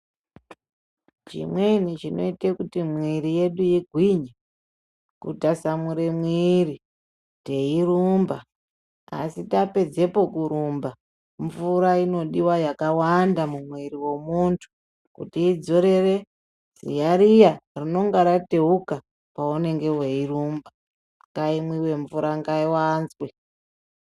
Chimweni chinoita kuti mwiri yedu igwinye kutasamura mwiri teirumba asi tapedzepo kurumba mvura inodiwa yakawanda mumwiri mwemunthu kuti idzorere ziya riya rinenge rateuka paunonga weirumba ngaimwiwe mvura ngaiwanzwe.